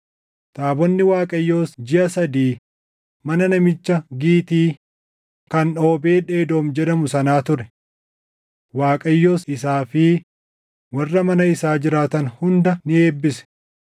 Taabonni Waaqayyoos jiʼa sadii mana namicha Gitii kan Oobeed Edoom jedhamu sanaa ture; Waaqayyos isaa fi warra mana isaa jiraatan hunda ni eebbise.